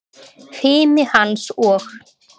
Fimi hans og